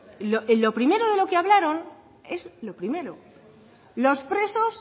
en lo primero de lo que hablaron es lo primero los presos